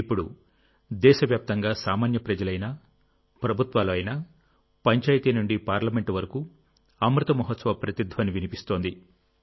ఇప్పుడు దేశవ్యాప్తంగా సామాన్య ప్రజలు అయినా ప్రభుత్వాలు అయినా పంచాయితీ నుండి పార్లమెంట్ వరకు అమృత మహోత్సవ ప్రతిధ్వని వినిపిస్తోంది